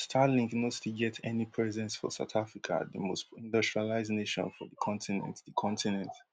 but starlink no still get any presence for south africa di most industrialised nation for di continent di continent